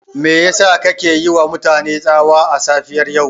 Me yasa kuke yiwa mutane tsawa a safiyar yau?